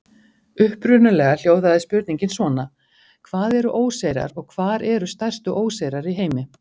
Upprunalega hljóðaði spurningin svona: Hvað eru óseyrar og hvar eru stærstu óseyrar í heimi?